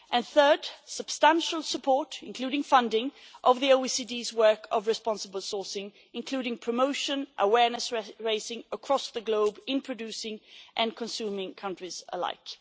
Thirdly, substantial support, including funding, for the OECD's work on the responsible sourcing including promotion and awareness raising across the globe in producing and consuming countries alike.